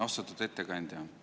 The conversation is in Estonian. Austatud ettekandja!